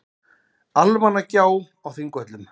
Almannagjá á Þingvöllum.